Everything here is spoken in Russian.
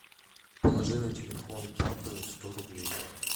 положи на телефон папы сто рублей